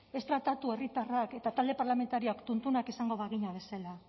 ez tratatu herritarrak eta talde parlamentarioak tuntunak izango bagina bezala